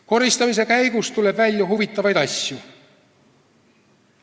Koristamise käigus tuleb välja huvitavaid asju.